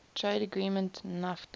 trade agreement nafta